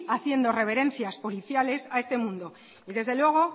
haciendo reverencias policiales a este mundo y desde luego